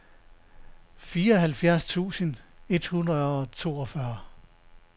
fireoghalvfjerds tusind et hundrede og toogfyrre